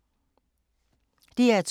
DR2